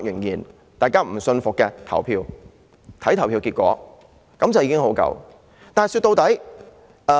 如果仍然不信服便投票，看投票結果便足夠。